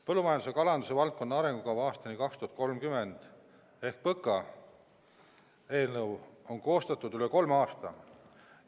Põllumajanduse ja kalanduse valdkonna arengukava aastani 2030 ehk PõKa eelnõu on koostatud üle kolme aasta.